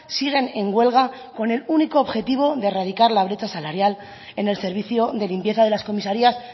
siguen en huelga con el único objetivo de erradicar la brecha salarial en el servicio de limpieza de las comisarías